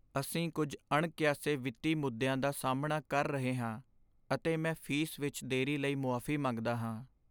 ਅਸੀਂ ਕੁੱਝ ਅਣਕਿਆਸੇ ਵਿੱਤੀ ਮੁੱਦਿਆਂ ਦਾ ਸਾਹਮਣਾ ਕਰ ਰਹੇ ਹਾਂ ਅਤੇ ਮੈਂ ਫੀਸ ਵਿੱਚ ਦੇਰੀ ਲਈ ਮੁਆਫ਼ੀ ਮੰਗਦਾ ਹਾਂ।